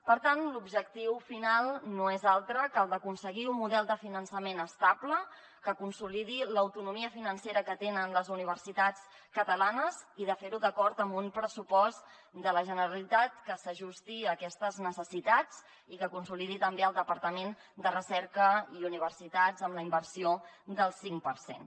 per tant l’objectiu final no és altre que el d’aconseguir un model de finançament estable que consolidi l’autonomia financera que tenen les universitats catalanes i fer·ho d’acord amb un pressupost de la generalitat que s’ajusti a aquestes necessitats i que consolidi també el departament de recerca i universitats amb la inversió del cinc per cent